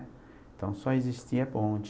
Então, só existia bonde.